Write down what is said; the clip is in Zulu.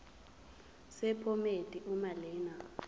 sephomedi uma lena